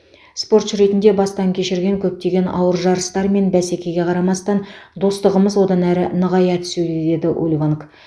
спортшы ретінде бастан кешірген көптеген ауыр жарыстар мен бәсекеге қарамастан достығымыз одан әрі нығая түсуде деді ульванг